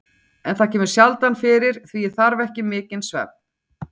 En það kemur sjaldan fyrir, því ég þarf ekki mikinn svefn.